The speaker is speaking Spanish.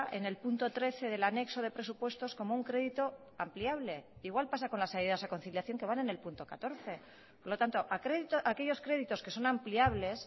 en el punto trece del anexo de presupuestos como un crédito ampliable igual pasa con las ayudas a conciliación que van en el punto catorce por lo tanto aquellos créditos que son ampliables